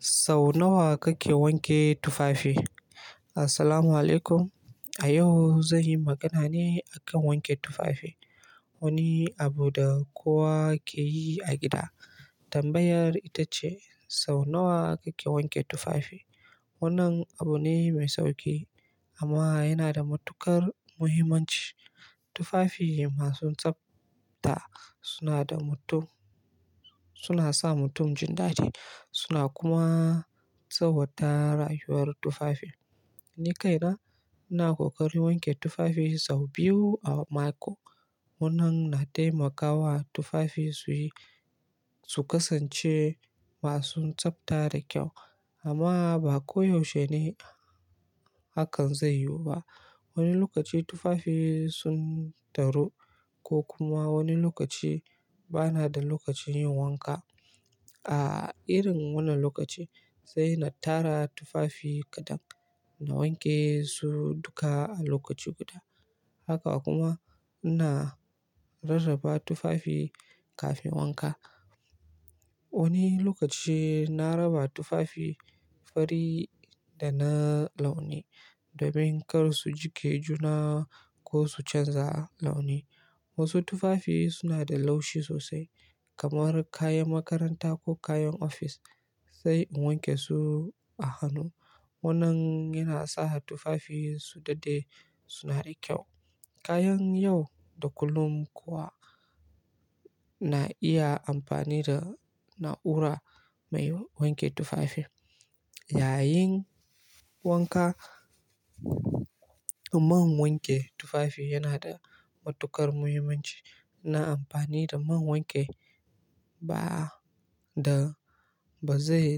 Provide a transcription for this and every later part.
Sau nawa kake wanke tufafi? Assalamu alaikum. A yau, zan yi magana ne a kan wanke tufafi, wani abu da kowa ke yi a gida. Tambayar ita ce: sau nawa kake wanke tufafi? Wannan abu ne mai sauki, amma yana da matuƙar muhimmanci. Tufafi masu tsafta suna sa mutum jin dadi, suna kuma tsawwata rayuwar tufafin. Ni kaina, ina ƙoƙari wanke tufafi sau biyu a mako. Wannan na taimakawa tufafi, su kasance masu tsabta da kyau. Amma ba koyaushe ne hakan zai yiwu ba. Wani lokaci tufafi sun taru, ko kuma wani lokaci, bana da lokacin yin wanka. A irin wannan lokaci, sai na tara tufafi kaɗan, na wanke su duka a lokaci guda. Haka kuma ina rarraba tufafi kafin wanka. Wani lokaci, na raba tufafi fari da na launi domin kar su jike juna ko su canza launi. Wasu tufafi suna da laushi sosai, kamar kayan makaranta, ko kayan ofis. Sai in wanke su a hannu. Wannan yana sa tufafi su daɗe suna da kyau. Kayan yau da kullum kuwa, na iya amfani da na'ura mai wanke tufafi. Yayin wanka, man wanke tufafi yana da matuƙar muhimmanci. Na amfani da man wanke ba zai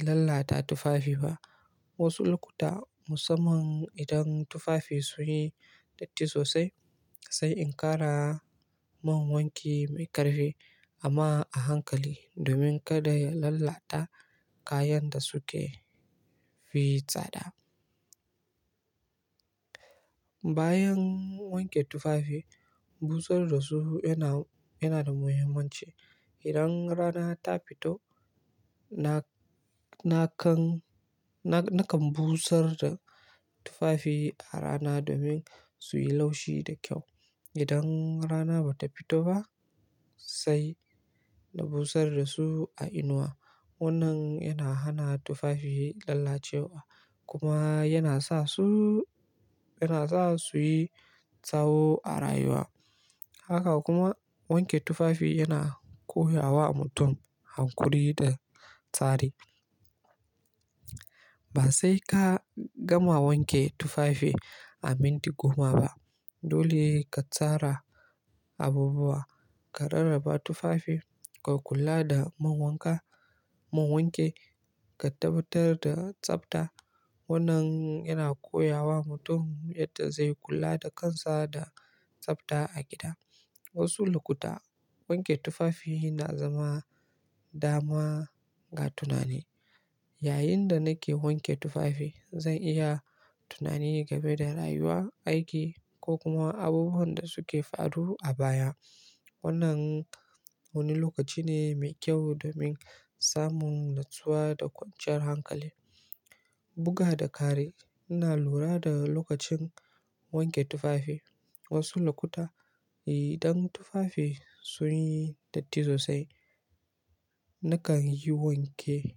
lallata tufafi ba. Wasu lokuta, musamman idan tufafi sun yi datti sosai, sai in ƙara man wanke mai ƙarfi amma a hankali domin kada ya lalata kayan da suke fi tsada. Bayan wanke tufafi, busar da su yana da muhimmanci. Idan rana ta fito, nakan busar da tufafi a rana domin su yi laushi da kyau. Idan rana ba ta fito ba, sai na busar da su a inuwa. Wannan yana hana tufafi lallacewa, kuma yana sa, su yi tsaho a rayuwa. Haka kuma wanke tufafi yana koya wa mutum hankuri da tsari. Ba sai ka gama wanke tufafi a minti goma ba. Dole ka tsara abubuwa, ka rarraba tufafi, ka kula da man wanka, man wanke, ka tabbatar da tsafta. Wannan yana koya wa mutum yadda zai kula da kansa da tsafta a gida. Wasu lokuta, wanke tufafi na zama dama ga tunani. Yayinda nake wanke tufafi, zan iya tunani game da rayuwa, aiki ko kuma abubuwan da suke faruwa a baya. Wannan wani lokaci ne mai kyau domin samun natsuwa da kwanciyar hankali. Buga da kari, ina lura da lokacin wanke tufafi. Wasu lokuta, idan tufafi sun yi datti sosai, nakan yi wanke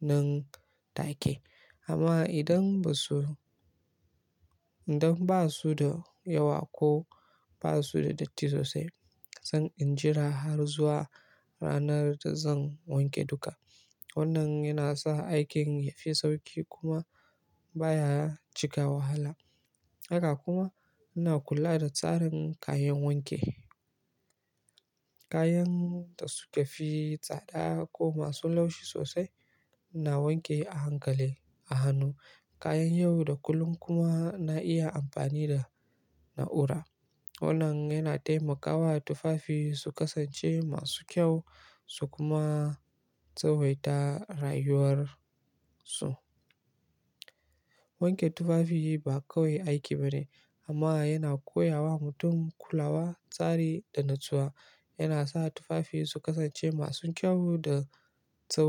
nan take. Amma idan ba su da yawa, ko ba su da datti sosai, zan injira har zuwa ranar da zan wanke duka. Wannan yana sa aikin ya fi sauƙi, kuma baya cika wahala. Haka kuma ina kula da tsarin kayan wanke. Kayan da suka fi tsada, ko masu laushi sosai, na wanke a hankali a hannu. Kayan yau da kullum kuma na iya amfani da na'ura. Wannan yana taimakawa tufafi, su kasance masu kyau, su kuma tsawaita rayuwar su. Wanke tufafi ba kawai aiki bane, amma yana koya wa mutum kulawa, tsari da natsuwa. Yana sa tufafi su kasance masu kyau da tsaho.